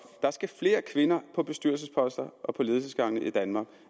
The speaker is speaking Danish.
der skal flere kvinder på bestyrelsesposter og på ledelsesgangene i danmark